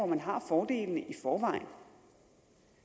man har fordelene i forvejen